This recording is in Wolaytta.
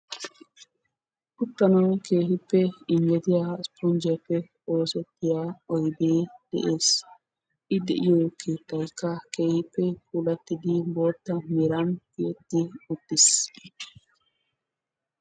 Uttanaw keehippe injjetiya ispponjjiyappe oosetida oyde de'ees; I de'iyo keetteaykka keehippe puulatidi bootta meran tiyeti uttiis.